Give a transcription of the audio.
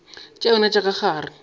tša yona tša ka gare